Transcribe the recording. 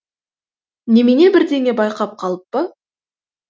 немене бірдеңе байқап қалып па